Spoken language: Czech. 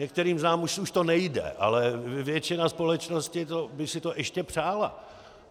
Některým z nás už to nejde, ale většina společnosti by si to ještě přála.